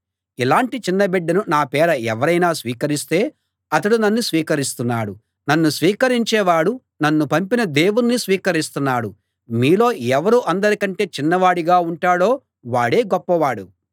ఇలాంటి చిన్న బిడ్డను నా పేర ఎవరైనా స్వీకరిస్తే అతడు నన్ను స్వీకరిస్తున్నాడు నన్ను స్వీకరించేవాడు నన్ను పంపిన దేవుణ్ణి స్వీకరిస్తున్నాడు మీలో ఎవరు అందరి కంటే చిన్నవాడిగా ఉంటాడో వాడే గొప్పవాడు